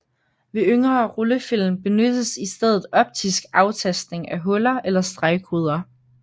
Ved yngre rullefilm benyttes i stedet optisk aftastning af huller eller stregkoder